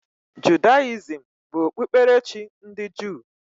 Judayizim bụ okpukperechi ndị Juu.